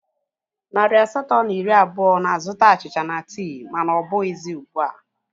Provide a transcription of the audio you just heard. Narị asatọ na iri abụọ na-azụta achịcha na tii mana ọ bụghị ọzọ